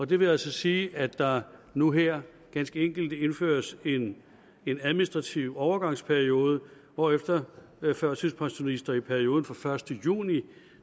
det vil altså sige at der nu her ganske enkelt indføres en en administrativ overgangsperiode hvorefter førtidspensionister i perioden fra den første juni